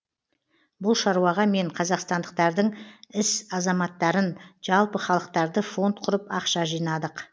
бұл шаруаға мен қазақстандықтардың іс азаматтарын жалпы халықтарды фонд құрып ақша жинадық